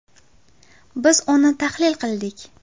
Biz uni tahlil qildik.